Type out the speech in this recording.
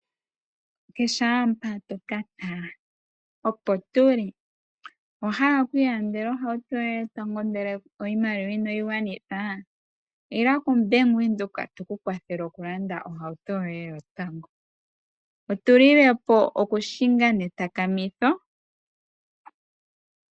Kehe owala mpa to ka tala, opo tu li. Owa hala okuilandela ohauto yoye yotango ndele oshimaliwa inayi gwana? Ila koBank Windhoek tu ku kwathele wu lande ohauto yoye yotango, otu lile po okuhinga netakamitho.